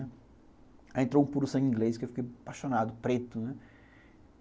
Aí entrou um puro sangue inglês, que eu fiquei apaixonado, preto, né?